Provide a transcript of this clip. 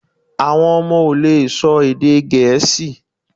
Awọn ọmọ o le sọ èdè gẹẹsi